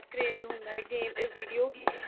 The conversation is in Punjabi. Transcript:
craze ਹੁੰਦਾ ਗੇ video game